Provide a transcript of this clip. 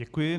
Děkuji.